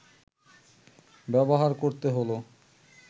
ব্যবহার করতে হলো